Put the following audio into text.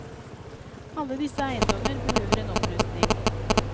Alle disse eiendommer behøver en opprustning.